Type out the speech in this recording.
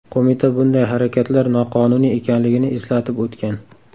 Qo‘mita bunday harakatlar noqonuniy ekanligini eslatib o‘tgan.